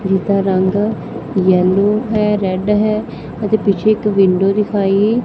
ਜਿਹਦਾ ਰੰਗ ਯੈਲੋ ਹੈ ਰੈਡ ਹੈ ਅਤੇ ਪਿੱਛੇ ਇੱਕ ਵਿੰਡੋ ਦਿਖਾਈ--